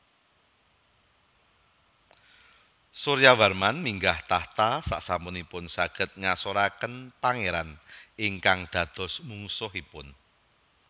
Suryawarman minggah tahta sasampunipun saged ngasoraken pangeran ingkang dados mungsuhipun